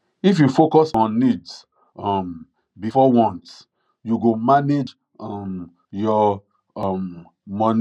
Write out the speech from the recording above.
if you focus on needs um before wants you go manage um your um money well